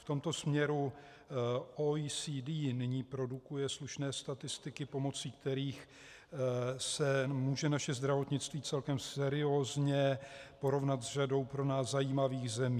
V tomto směru OECD nyní produkuje slušné statistiky, pomocí kterých se může naše zdravotnictví celkem seriózně porovnat s řadou pro nás zajímavých zemí.